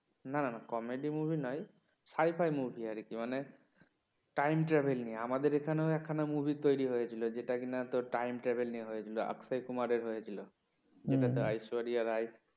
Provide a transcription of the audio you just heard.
না না না comedy movie নয় sci fi মুভি আর কি মানে time travel নিয়ে আমাদের এখানেও একখানা movie তৈরি হয়েছিল যেটা কিনা time travel নিয়ে হয়েছিল আক্ষয় কুমারের হয়েছিল যেটাতে ঐশ্বরিয়া রায়